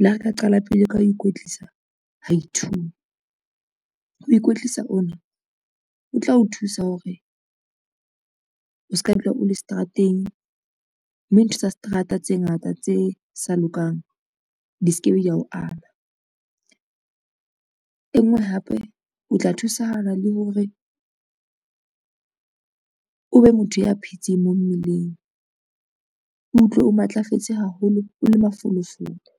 Le ha re ka qala pele ka ho ikwetlisa ha i-two, ho ikwetlisa ona ho tla o thusa hore o ska dula o le seterateng, mme ntho tsa seterata tse ngata tse sa lokang di se ke be da o ama. E ngwe hape o tla thusahala le hore o be motho ya phetseng mo mmeleng, utlwe o matlafetse haholo, o le mafolofolo.